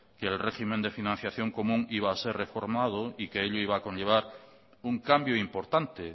que el régimen de financiación común iba a ser reformado y que ello iba a conllevar un cambio importante